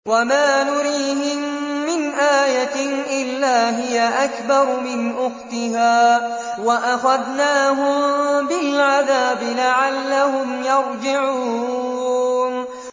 وَمَا نُرِيهِم مِّنْ آيَةٍ إِلَّا هِيَ أَكْبَرُ مِنْ أُخْتِهَا ۖ وَأَخَذْنَاهُم بِالْعَذَابِ لَعَلَّهُمْ يَرْجِعُونَ